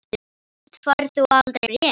Samt færð þú aldrei bréf.